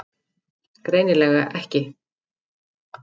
Greinilega ekki.